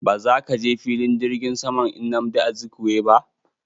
Ba zaka je filin jirgin saman nnamdi Azikiwe ba!